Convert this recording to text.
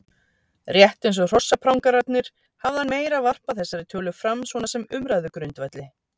Rétt eins og hrossaprangararnir hafði hann meira varpað þessari tölu fram svona sem umræðugrundvelli.